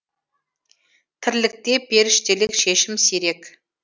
тірлікте періштелік шешім сирек